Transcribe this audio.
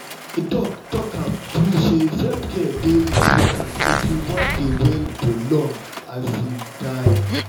my doc talk am true say self-care dey important if you wan dey well for long time.